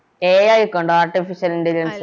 AI ഒക്കെ ഒണ്ടോ Artificial intelligence